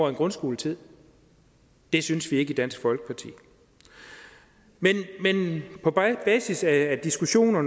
af grundskoletiden det synes vi ikke i dansk folkeparti men på basis af diskussionen og